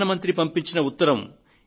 ప్రధాన మంత్రి పంపించిన ఉత్తరం